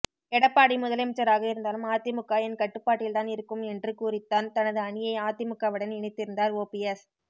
எடப்பாடி முதலமைச்சராக இருந்தாலும் அதிமுக என் கட்டுப்பாட்டில் தான் இருக்கும் என்று கூறித்தான் தனது அணியை அதிமுகவுடன் இணைத்திருந்தார் ஓபிஎஸ்